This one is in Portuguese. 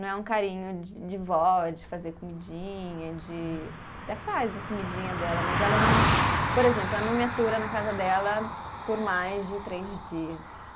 Não é um carinho de de vó, de fazer comidinha, de. Até faz a comidinha dela, mas ela não. Por exemplo, ela não me atura na casa dela por mais de três dias.